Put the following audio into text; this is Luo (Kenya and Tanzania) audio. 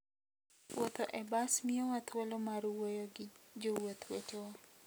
Wuotho e bas miyowa thuolo mar wuoyo gi jowuoth wetewa.